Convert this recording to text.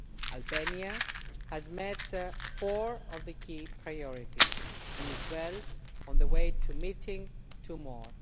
Albania has met four of the key priorities and is well on the way to meeting two more.